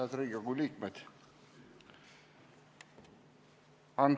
Head Riigikogu liikmed!